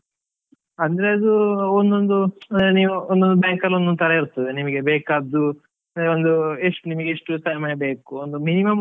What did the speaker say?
ಅಂದ್ರೆ ಅದು ಒಂದೊಂದು ನೀವ್ ಒಂದೊಂದ್ bank ಅಲ್ಲಿ ಒಂದೊಂದು ತರ ಇರ್ತದೆ, ನಿಮ್ಗೆ ಬೇಕಾದ್ದು ಒಂದು ಎಷ್ಟು ನಿಮಗೆ ಎಷ್ಟು ಸಮಯ ಬೇಕು ಒಂದು minimum .